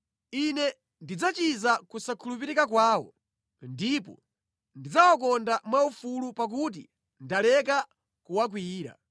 Ine ndidzachiza kusakhulupirika kwawo ndipo ndidzawakonda mwaufulu pakuti ndaleka kuwakwiyira.